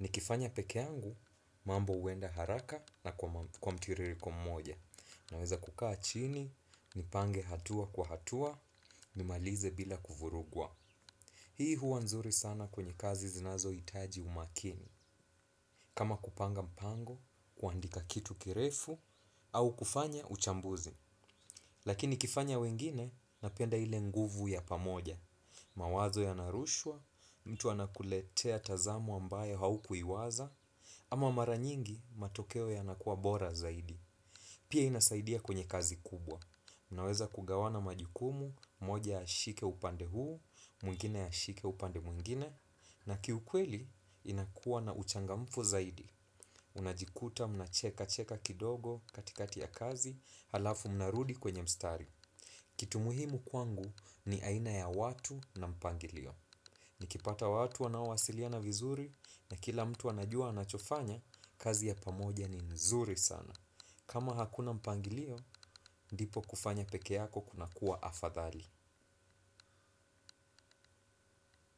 Nikifanya peke yangu, mambo huenda haraka na kwa mtiririko mmoja. Naweza kukaa chini, nipange hatua kwa hatua, nimalize bila kuvurugwa. Hii huwa nzuri sana kwenye kazi zinazohitaji umakini. Kama kupanga mpango, kuandika kitu kirefu, au kufanya uchambuzi. Lakini kifanya wengine, napenda ile nguvu ya pamoja. Mawazo yanarushwa, mtu anakuletea tazamo ambayo haukuiwaza, ama mara nyingi matokeo yanakuwa bora zaidi. Pia inasaidia kwenye kazi kubwa. Unaweza kugawana majukumu, moja ashike upande huu, mwingine ashike upande mwingine, na kiukweli inakuwa na uchangamfu zaidi. Unajikuta mnacheka cheka kidogo katikati ya kazi, halafu mnarudi kwenye mstari. Kitu muhimu kwangu ni aina ya watu na mpangilio. Nikipata watu wanaowasiliana vizuri na kila mtu anajua anachofanya, kazi ya pamoja ni nzuri sana. Kama hakuna mpangilio, ndipo kufanya peke yako kunakuwa afadhali.